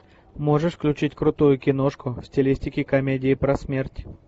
можешь включить крутую киношку в стилистике комедии про смерть